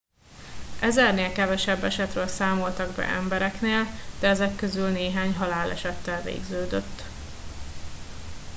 ezernél kevesebb esetről számoltak be embereknél de ezek közül néhány halálesettel végződött